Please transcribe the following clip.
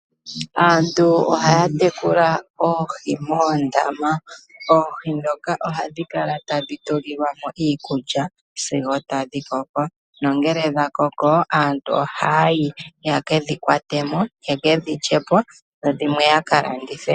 Aantu ohaya tekula oohi moondama oohi dhoka ohadhi kala tadhi tulilwamo iikulya sigo tadhi koko no ngele dhakoko aantu ohayi yeke dhi kwatemo yeke dhilyepo dho dhimwe oya kalandithe.